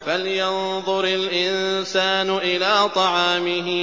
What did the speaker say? فَلْيَنظُرِ الْإِنسَانُ إِلَىٰ طَعَامِهِ